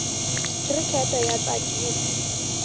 khirikete ya tsakisa